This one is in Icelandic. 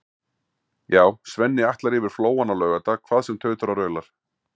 Já, Svenni ætlar yfir Flóann á laugardag hvað sem tautar og raular.